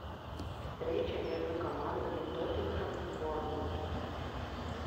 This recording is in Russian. встреча между командами тоттенхэм борнмут